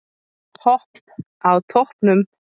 Hopp á toppnum